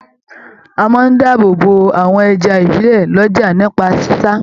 À máa n dáàbò bò àwọn ẹja ibilẹ l'ọja nípa sisa.